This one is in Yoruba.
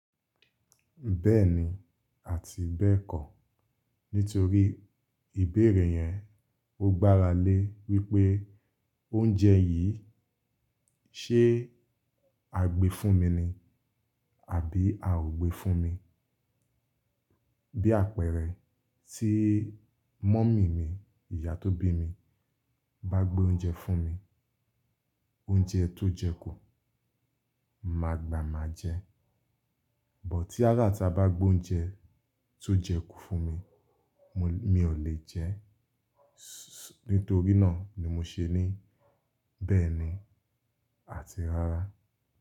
Bẹ́ẹ̀ni àti bẹ́ẹ̀kọ̀. Nítorí ìbéèrè yẹn o gbára lé wípé oúnjẹ yìí ṣe á gbé fún mi ni àbí a ò gbé fún mi. Bí àpẹẹrẹ tí mummy mi, ìyá tó bí mi bá gbé oúnjẹ fún mi, oúnjẹ tó jẹ kú, máa gbà máa jẹ. But tí ará ita bá gbé oúnjẹ tó jẹ kú fún mi, mo, mi ò lè jẹ ẹ́. Nítorí náà ni mo ṣe ní bẹ́ẹ̀ni àti rárá.